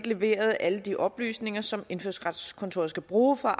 levere alle de oplysninger som indfødsretskontoret skal bruge for